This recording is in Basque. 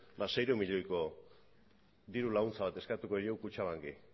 seiehun milioiko diru laguntza bat eskatuko diot kutxabanki